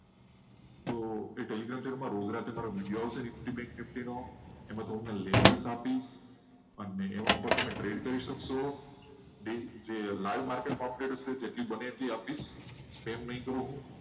એ Telegram channel પર infinity trade માટેની કેવી રીતે તમે trade કરી શકશો? જે live trading માં update આવશે. જે live trading માં update હશે. એ તમને update મળશે.